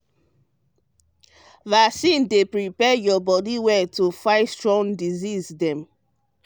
vaccine dey prepare your body well to fight strong disease dem.